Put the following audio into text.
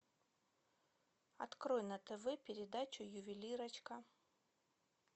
открой на тв передачу ювелирочка